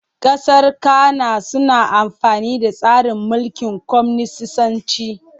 Ƙasar Cana suna amfani da tsarin mulkin kwaminisanci.